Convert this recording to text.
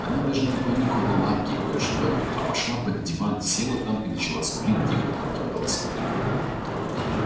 она даже не понюхала лапки и кое-что а пошла под диван села там и начала скулить тихо тонким голоском